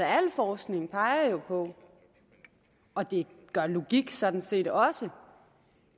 al forskning peger jo på og det gør logik sådan set også